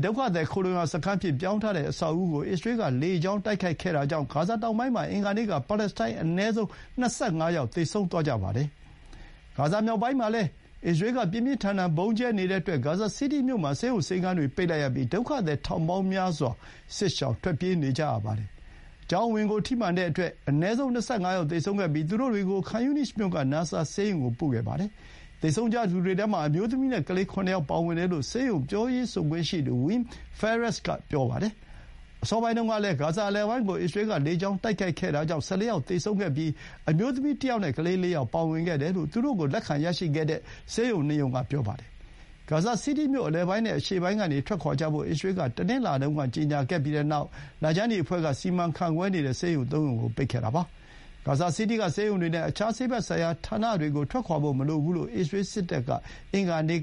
ဒုက္ခသည်ခိုလှုံရာစခန်းအဖြစ်ပြောင်းထားတဲ့ ကျောင်းအဆောက်အဦးကို အစ္စရေးကလေကြောင်း တိုက်ခိုက်တာကြောင့် ဂါဇာတောင်ပိုင်းမှာ အင်္ဂါနေ့က ပါလက်စတိုင်း အနည်းဆုံး ၂၅ ယောက် သေဆုံးသွားကြပါတယ်။ ဂါဇာမြောက်ပိုင်းမှာလည်း အစ္စရေးက ပြင်းပြင်းထန်ထန် ဗုံးကြဲနေတဲ့အတွက် ဂါဇာစီးတီးမြို့မှာ ဆေးရုံဆေးခန်းတွေ ပိတ်လိုက်ရပြီး ဒုက္ခသည်ထောင်ပေါင်းများစွာ စစ်ရှောင်ထွက်ပြေးနေကြရပါတယ်။ ကျောင်းအဝင်ကိုထိမှန်တဲ့အတွက် အနည်းဆုံး ၂၅ ယောက်သေဆုံးခဲ့ပြီး သူတို့တွေကို ခန်ယူနိစ်မြို့က နာဆာဆေးရုံကို ပို့ခဲ့ပါတယ်။ သေဆုံးကြသူတွေထဲမှာ အမျိုးသမီးနဲ့ကလေး ၇ ယောက် ပါဝင်တယ်လို့ ဆေးရုံပြောရေးဆိုခွင့်ရှိသူ Weam Fares က ပြောပါတယ်။ အစောပိုင်းတုန်းကလည်း ဂါဇာအလယ်ပိုင်းကို အစ္စရေးက လေကြာင်းတိုက်ခိုက်ခဲ့တာကြောင့် ၁၄ ယောက်သေဆုံးခဲ့ပြီး အမျိုးသမီးတယောက်နဲ့ ကလေး ၄ ယောက် ပါဝင်ခဲ့တယ်လို့ သူတို့ကိုလက်ခံ ရရှိခဲ့တဲ့ ဆေးရုံ ၂ ရုံက ပြောပါတယ်။ ဂါဇာစီးတီးမြို့အလယ်ပိုင်းနဲ့ အရှေ့ပိုင်းကနေထွက်ခွါကြဖို့ အစ္စရေးက တနင်္လာနေ့တုန်းကကြေညာခဲ့ပြီးတဲ့နောက် လခြမ်းနီအဖွဲ့က စီမံခန့်ခွဲနေတဲ့ဆေးရုံ ၃ ရုံကို ပိတ်ခဲ့ပါတယ်။ ဂါဇာစီးတီးကဆေးရုံတွေနဲ့ အခြားဆေးဘက်ဆိုင်ရာဌာနတွေ ထွက်ခွါဖို့မလိုဘူးလို့ အစ္စရေးစစ်တပ်က အင်္ဂါနေ့